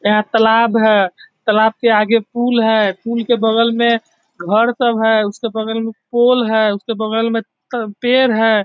यहां तालाब है तालाब के आगे पुल है पुल के बगल में घर सब है उसके बगल में पोल है उसके बगल में पेड़ है।